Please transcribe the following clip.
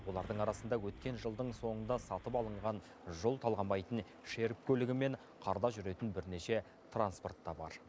олардың арасында өткен жылдың соңында сатып алынған жол талғамайтын шерп көлігі мен қарда жүретін бірнеше транспорт та бар